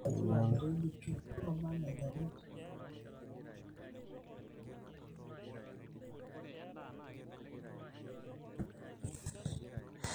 keyolouni teneku ilpaek amu ketoyu imbenek, nesikitonu ashu edoru